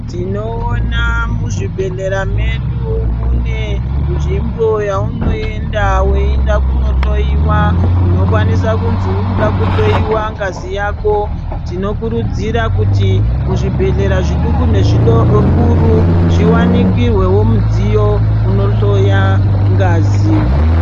Tinoona muzvibhehlera medu munenzvimbo yaunoenda weienda kunohloyiwa unokwanisa kuzi urikuda kuhloyiwa ngazi yako tinokurudzira kutu muzvibhehlera zviduku nezvikuru zviwanikihwewo mudziyo unohloya ngazi.